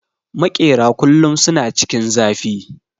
Makera kullum suna cikin zafi